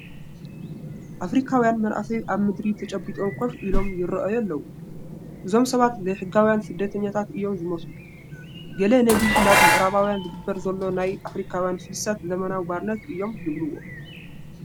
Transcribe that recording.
ኣፍሪካውያን መናእሰይ ኣብ ምድሪ ተጨቢጦም ኮፍ ኢሎም ይርአዩ ኣለዉ፡፡ እዞም ሰባት ዘይሕጋውያን ስደተኛታት እዮም ዝመስሉ፡፡ ገለ ነዚ ናብ ምዕራባውያን ዝግበር ዘሎ ናይ ኣፍሪካውያን ፍልሰት ዘመናዊ ባርነት እዮም ዝብልዎ፡፡